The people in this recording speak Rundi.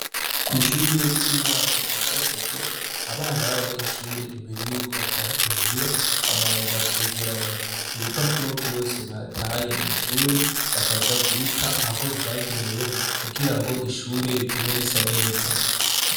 Kw'ishure ry' intango rya Gasogwe, abana babanyeshur' imbere yuko batah' imuhira babanza kwegerany' ibipapuro vyose bataye mw' ishure bakaja kubit' aho vyagenewe, kugirang' ishure rigume risa neza.